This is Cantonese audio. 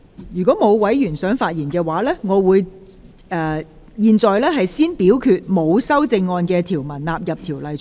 如果沒有委員想發言，現在先表決沒有修正案的條文納入《條例草案》。